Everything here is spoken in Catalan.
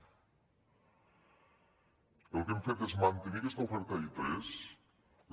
el que hem fet és mantenir aquesta oferta i3